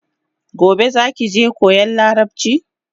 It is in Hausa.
Gobe zaki je koyan larabchin?